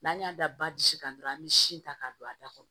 N'an y'a da ba bisi kan dɔrɔn an bi sin ta k'a don a da kɔnɔ